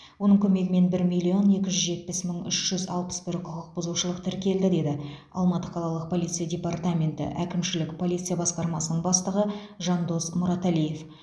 оның көмегімен бір миллион екі жүз жетпіс мың үш жүз алпыс бір құқық бұзушылық тіркелді деді алматы қалалық полиция департаменті әкімшілік полиция басқармасының бастығы жандос мұраталиев